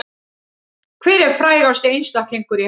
Hver er frægasti einstaklingur í heimi